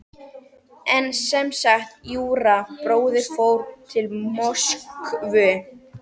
En sem sagt: Júra bróðir fór til Moskvu.